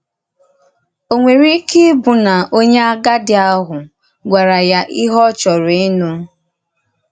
Ò nwere ike íbụ na onye àgádì ahụ gwàrà ya íhè ọ chòrọ̀ ínụ?